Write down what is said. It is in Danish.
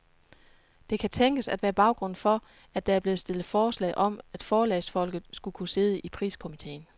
Det kan tænkes at være baggrunden for, at der er blevet stillet forslag om, at forlagsfolk skulle kunne sidde i priskomiteen.